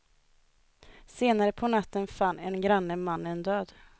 Senare på natten fann en granne mannen död.